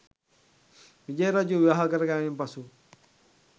විජය රජු විවාහ කරගැනීමෙන් පසුව